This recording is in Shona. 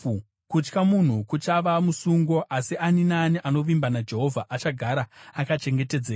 Kutya munhu kuchava musungo, asi ani naani anovimba naJehovha achagara akachengetedzeka.